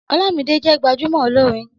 Ọlámidé jẹ́ gbajúmọ̀ olórin